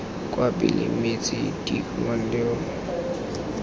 kwa pele mme tse dikhibidu